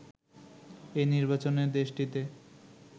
এই নির্বাচনে দেশটিতে